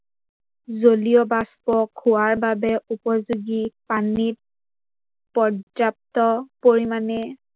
জলীয়বাষ্প, খোৱাৰ বাবে উপযোগী পানীত পৰ্যাপ্ত পৰিমানে